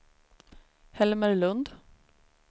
Helmer Lund